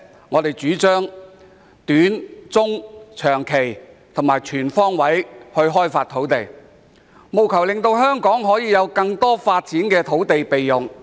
我們主張透過短、中及長期措施，全方位開發土地，務求令香港有更多可發展的土地備用。